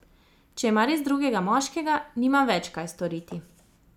Če ima res drugega moškega, nimam več kaj storiti.